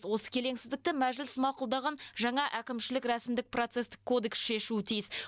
осы келеңсіздікті мәжіліс мақұлдаған жаңа әкімшілік рәсімдік процестік кодекс шешуі тиіс